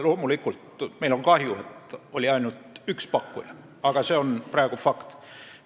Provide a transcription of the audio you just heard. Loomulikult on meil kahju, et oli ainult üks pakkuja, aga see on praegu fakt.